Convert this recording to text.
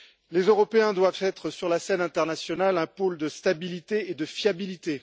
Les Européens doivent être, sur la scène internationale, un pôle de stabilité et de fiabilité.